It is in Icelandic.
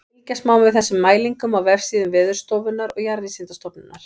Fylgjast má með þessum mælingum á vefsíðum Veðurstofunnar og Jarðvísindastofnunar.